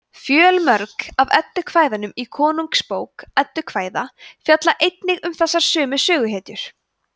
fjölmörg af eddukvæðunum í konungsbók eddukvæða fjalla einnig um þessar sömu söguhetjur